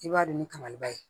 I b'a don ni kaba ye